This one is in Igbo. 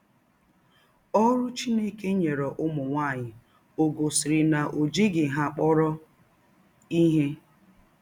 Ọrụ Chineke nyere ụmụ nwaanyị ò gosiri na o jighị ha kpọrọ ihe?